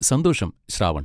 സന്തോഷം, ശ്രാവൺ.